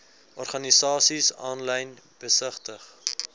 organisasies aanlyn besigtig